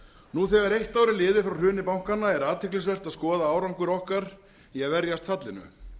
nú þegar eitt ár er liðið frá hruni bankanna er athyglisvert að skoða árangur okkar í að verjast fallinu